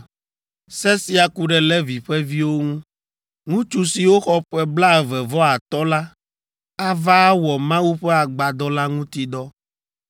“Se sia ku ɖe Levi ƒe viwo ŋu. Ŋutsu siwo xɔ ƒe blaeve vɔ atɔ̃ la ava awɔ Mawu ƒe agbadɔ la ŋuti dɔ.